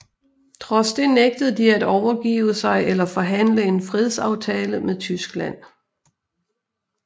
Trods det nægtede de at overgive sig eller forhandle en fredsaftale med Tyskland